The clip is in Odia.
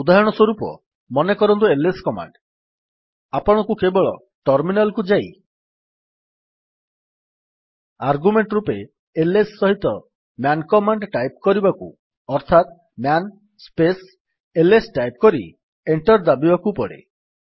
ଉଦାହରଣ ସ୍ୱରୂପ ମନେକରନ୍ତୁ ଆଇଏସ କମାଣ୍ଡ୍ ଆପଣଙ୍କୁ କେବଳ ଟର୍ମିନାଲ୍ କୁ ଯାଇ ଆର୍ଗ୍ୟୁମେଣ୍ଟ୍ ରୂପେ ଆଇଏସ ସହିତ ମ୍ୟାନ୍ କମାଣ୍ଡ୍ ଟାଇପ୍ କରିବାକୁ ଅର୍ଥାତ୍ ମ୍ୟାନ୍ ସ୍ପେସ୍ ଆଇଏସ ଟାଇପ୍ କରି ଏଣ୍ଟର୍ ଦାବିବାକୁ ପଡେ